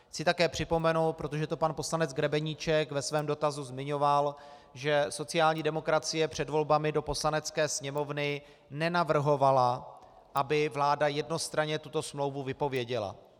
Chci také připomenout, protože to pan poslanec Grebeníček ve svém dotazu zmiňoval, že sociální demokracie před volbami do Poslanecké sněmovny nenavrhovala, aby vláda jednostranně tuto smlouvu vypověděla.